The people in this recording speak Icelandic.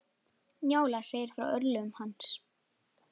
Njála segir frá örlögum hans.